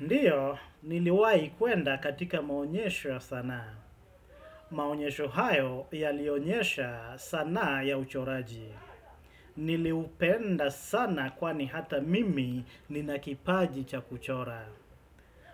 Ndio, niliwahi kuenda katika maonyesho ya sanaa. Maonyesho hayo yalionyesha sanaa ya uchoraji. Niliupenda sana kwani hata mimi nina kipaji cha kuchora.